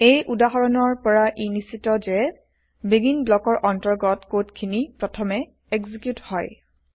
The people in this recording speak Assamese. এই উদাহৰণৰ পৰা ই নিশ্ছিত যে বেগিন ব্লকৰ অন্তৰ্গত কড খিনি প্ৰথমে এক্সিকিউত হয়